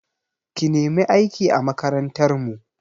Ki nemi aiki a makarantar mu!